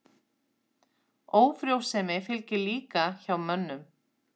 Ófrjósemi fylgir líka hjá mönnum.